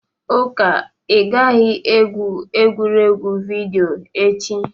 Uka, ị gaghị egwu egwuregwu vidiyo echi!